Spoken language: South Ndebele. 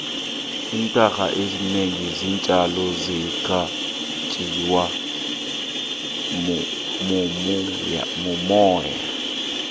iintanga ezinengi zeentjalo zikhanjiswa mumoya